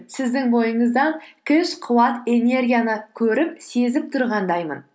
сіздің ойыңыздан күш қуат энергияны көріп сезіп тұрғандаймын